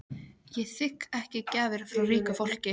Ég þigg ekki gjafir af ríku fólki.